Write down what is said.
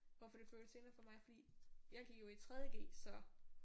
Hvorfor det føles senere for mig fordi jeg gik jo i 3.g så